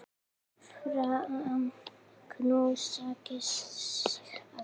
Faðma, knúsa, kyssi þig.